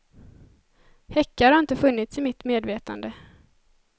Häckar har inte funnits i mitt medvetande.